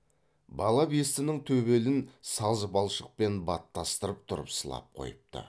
бала бестінің төбелін саз балшықпен баттастырып тұрып сылап қойыпты